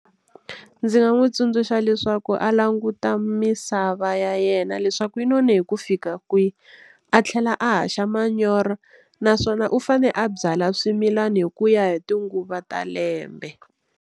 Ndzi nga n'wi tsundzuxa leswaku a languta misava ya yena leswaku yi none hi ku fika kwihi a tlhela a haxa manyoro naswona u fane a byala swimilani hi ku ya hi tinguva ta lembe.